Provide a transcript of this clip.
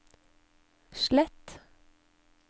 slett